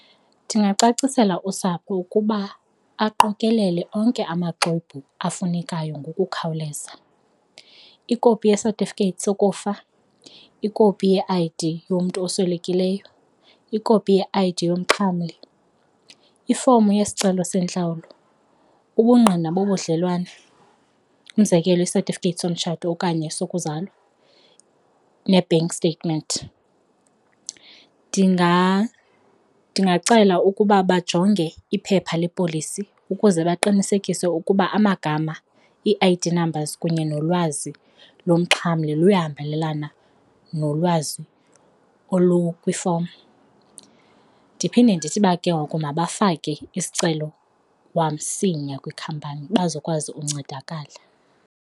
Ndingacacisela usapho ukuba aqokelele onke amaxwebhu afunekayo ngokukhawuleza, ikopi yesatifiketi sokufa, ikopi ye-I_D yomntu oswelekileyo, ikopi ye-I_D yomxhamli, ifomu yesicelo sentlawulo, ubungqina wobudlelwane umzekelo, isatifiketi somtshato okanye esokuzalwa ne-bank statement. Ndingacela ukuba bajonge iphepha lepolisi ukuze baqinisekise ukuba amagama, ii-I_D numbers kunye nolwazi lomxhamli luyahambelelana nolwazi olu kwifomu. Ndiphinde ndithi uba ke ngoku mabafake isicelo kwamsinya kwikhampani bazokwazi uncedakala.